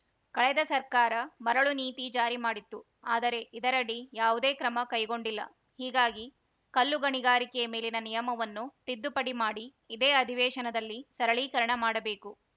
ಕಳೆದ ಸರ್ಕಾರ ಮರಳು ನೀತಿ ಜಾರಿ ಮಾಡಿತ್ತು ಆದರೆ ಇದರಡಿ ಯಾವುದೇ ಕ್ರಮ ಕೈಗೊಂಡಿಲ್ಲ ಹೀಗಾಗಿ ಕಲ್ಲು ಗಣಿಗಾರಿಕೆ ಮೇಲಿನ ನಿಯಮವನ್ನು ತಿದ್ದುಪಡಿ ಮಾಡಿ ಇದೇ ಅಧಿವೇಶನದಲ್ಲಿ ಸರಳೀಕರಣ ಮಾಡಬೇಕು